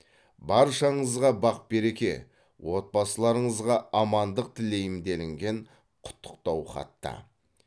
баршаңызға бақ береке отбасыларыңызға амандық тілеймін делінген құттықтау хатта